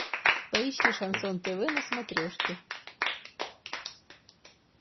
поищи шансон тв на смотрешке